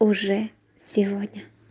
уже сегодня